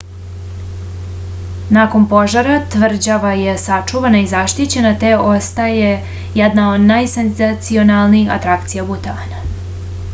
nakon požara tvrđava je sačuvana i zaštićena te ostaje jedna od najsenzacionalnijih atrakcija butana